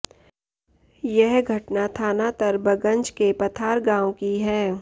यह घटना थाना तरबगंज के पथार गांव की है